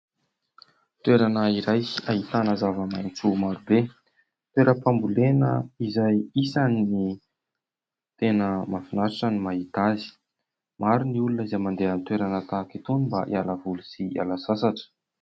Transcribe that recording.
Toerana iray ahitana zava-maitso maro be. Toeram-pambolena izay isan'ny tena mahafinaritra ny mahita azy. Maro ny olona izay mandeha amin'ny toerana tahaka itony mba hiala voly sy hiala sasatra.